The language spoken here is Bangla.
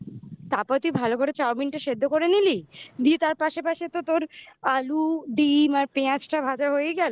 তারপর তুই ভালো করে চাউমিনটা সেদ্ধ করে নিলি তার পাশে পাশে তো তোর আলু ডিম আর পেঁয়াজটা ভাজা হয়ে গেল